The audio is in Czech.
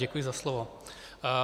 Děkuji za slovo.